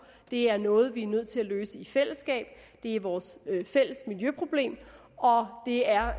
det er noget vi er nødt til at løse i fællesskab det er vores fælles miljøproblem det er